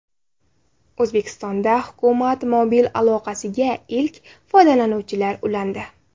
O‘zbekistonda hukumat mobil aloqasiga ilk foydalanuvchilar ulandi.